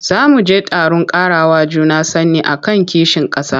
Za mu je taron ƙarawa juna sani a kan kishin ƙasa.